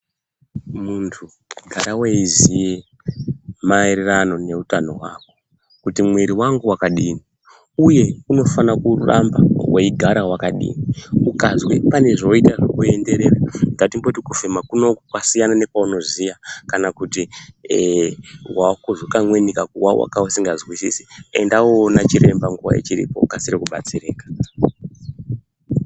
Muntu gara weiziye maererano ne utano hwako kuti mwiri wangu wakadini uye unofana kuramba wei gara wakadini ukazwe pane zvoita zveku enderera ngatimboti kufema kunoku kwasiyana ne kwauno ziya kana kuti ee wakuzwa kamweni ka kuwawa kausika zwisisi enda uno ona chiremba nguva ichiripo ukasire ku batsirika.